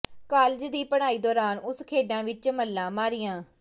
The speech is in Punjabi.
ਕਾਲਜ ਦੀ ਪੜ੍ਹਾਈ ਦੌਰਾਨ ਉਸ ਖੇਡਾਂ ਵਿੱਚ ਮੱਲਾਂ ਮਾਰੀਆਂ